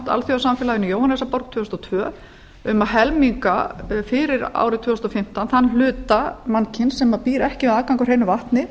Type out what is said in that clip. alþjóðasamfélaginu í jóhannesarborg tvö þúsund og tvö um að helminga fyrir árið tvö þúsund og fimmtán þann hluta mannkyns sem býr ekki við aðgang að hreinu vatni